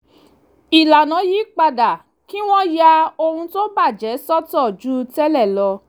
ìlànà yí padà kí wọ́n ya ohun tó bà jẹ́ sọ́tọ̀ ju tẹ́lẹ̀ lọ